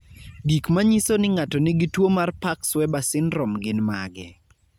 Gik manyiso ni ng'ato nigi tuwo mar Parkes Weber syndrome gin mage?